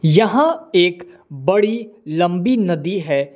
यहा एक बड़ी लंबी नदी है।